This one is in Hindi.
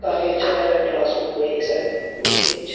काफी अच्छा लग रहा है क्लास रूम मे ये शायद बहुत ही अच्छा --